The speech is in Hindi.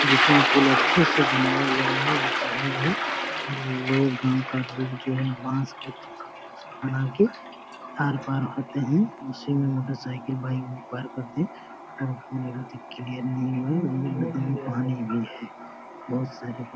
ये पुल अच्छे से बना हुआ नही है ये चढ़ा हुआ है और लोग गांव का लोग जो है बास बना के आर पार होते है इसी मे मोटरसाइकिल बाइक करते हुए वह पुल अभी तक क्लीयर नही हुआ है और पानी भी है बहुत सारे --